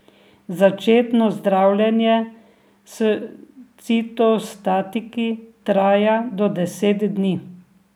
Začetno zdravljenje s citostatiki traja do deset dni.